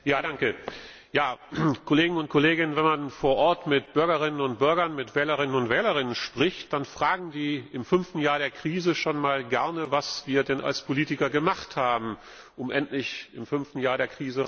Frau Präsidentin, Kolleginnen und Kollegen! Wenn man vor Ort mit Bürgerinnen und Bürgern, mit Wählerinnen und Wählern spricht, dann fragen die im fünften Jahr der Krise schon einmal, was wir als Politiker gemacht haben, um endlich im fünften Jahr aus der Krise herauszukommen.